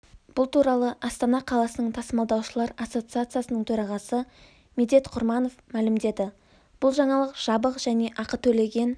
бұл туралы астана қаласының тасымалдаушылар ассоциациясының төрағасы медет құрманов мәлімдеді бұл жаңалық жабық және ақы төлеген